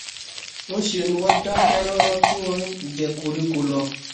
ńṣe ni wọ́n dákẹ́ rọ́rọ́ tí wọ́n ń jẹ koríko lọ